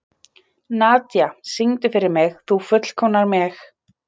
Þeir sem hafa nær ekkert melanín í ysta hluta lithimnunnar eru með blá augu.